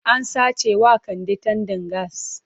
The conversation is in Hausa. An sace wa Kande tandan gas.